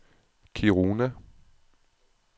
Kiruna